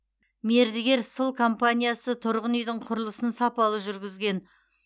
мердігер сыл компаниясы тұрғын үйдің құрылысын сапалы жүргізген